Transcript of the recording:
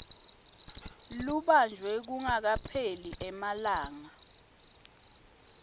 lubanjwe kungakapheli emalanga